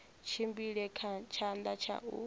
tshimbile kha tshanḓa tsha u